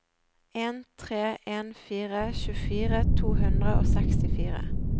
en tre en fire tjuefire to hundre og sekstifire